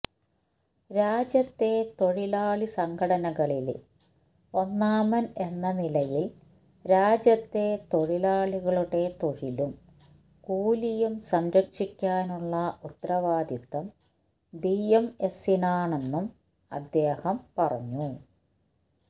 രാജ്യത്തെ തൊഴിലാളി സംഘടനകളില് ഒന്നാമന് എന്ന നിലയില് രാജ്യത്തെ തൊഴിലാളികളുടെ തൊഴിലും കൂലിയും സംരക്ഷിക്കാനുള്ള ഉത്തരവാദിത്തം ബിഎംഎസിനാണെന്നും അദ്ദേഹം പറഞ്ഞു